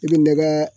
I bɛ nɛgɛ